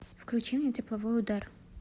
включи мне тепловой удар